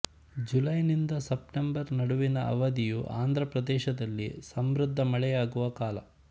ಜುಲೈನಿಂದ September ನಡುವಿನ ಅವಧಿಯು ಆಂಧ್ರ ಪ್ರದೇಶದಲ್ಲಿ ಸಮೃಧ್ಧ ಮಳೆಯಾಗುವ ಕಾಲ